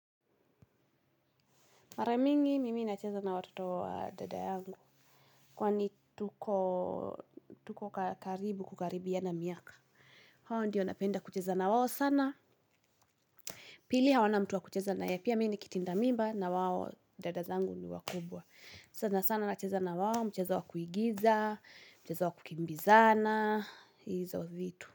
Mare mingi mimi nacheza na watoto wa dada yangu kwa ni tuko karibu kukaribia na miaka. Hawa ndio napenda kucheza na wawo sana. Pili hawana mtu wa kucheza naye pia mimi ni kitindamimba na wawo dada zangu ni wakubwa. Sana sana nacheza na wao mchezo wa kuigiza, mchezo wa kukimbizana, hizo vitu.